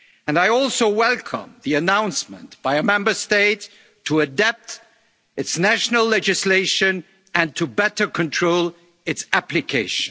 in agriculture. I also welcome the announcement by a Member State to adapt its national legislation and to better control